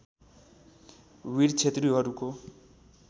वीर क्षेत्रिहरूको